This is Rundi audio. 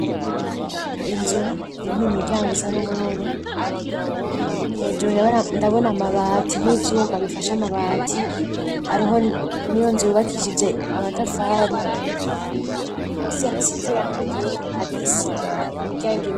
inzu irimwo imiryango isa n'ubururu, hejuru ndabona amabati n'ivyuma bifashe amabati, hariho n'iyo nzu yubakishije amatafari, musi hasize irangi ryera hari isima, imiryango irugaye.